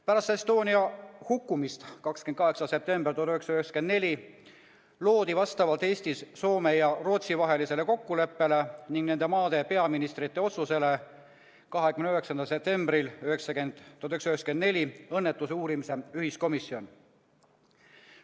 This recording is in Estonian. Pärast Estonia uppumist 28. septembril 1994 loodi vastavalt Eesti, Soome ja Rootsi vahelisele kokkuleppele ning nende maade peaministrite otsusele 29. septembril 1994 õnnetuse uurimise ühiskomisjon.